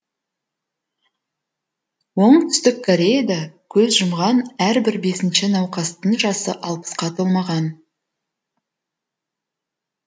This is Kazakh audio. оңтүстік кореяда көз жұмған әрбір бесінші науқастың жасы алпысқа толмаған